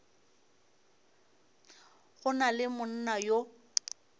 go na le monna yo